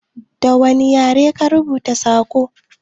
Da wani yare ka rubuta sakon?